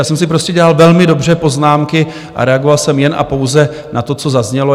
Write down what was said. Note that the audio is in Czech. Já jsem si prostě dělal velmi dobře poznámky a reagoval jsem jen a pouze na to, co zaznělo.